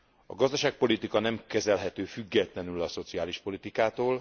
A gazdaságpolitika nem kezelhető függetlenül a szociális politikától.